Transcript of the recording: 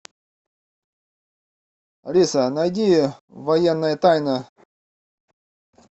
алиса найди военная тайна